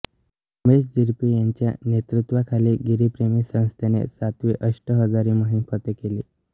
उमेश झिरपे यांच्या नेतृत्वाखाली गिरिप्रेमी संस्थेने सातवी अष्टहजारी मोहीम फत्ते केली